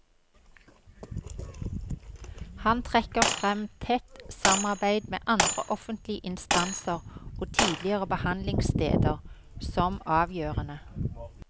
Han trekker frem tett samarbeid med andre offentlige instanser og tidligere behandlingssteder som avgjørende.